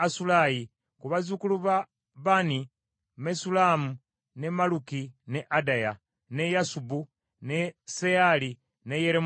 Ku bazzukulu ba Bani: Mesullamu, ne Malluki, ne Adaya, ne Yasubu, ne Seyaali ne Yeremoosi.